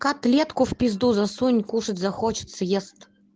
котлетку в пизду засунь кушать захочет съест